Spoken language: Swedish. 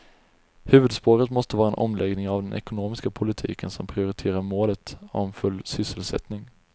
Huvudspåret måste vara en omläggning av den ekonomiska politiken som prioriterar målet om full sysselsättning.